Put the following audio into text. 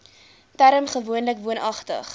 term gewoonlik woonagtig